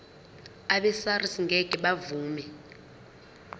abesars ngeke bavuma